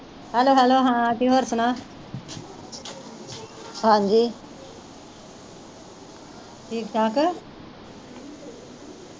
hello hello ਹਾਂ ਹੋਰ ਸੁਣਾ ਠੀਕ ਠਾਕ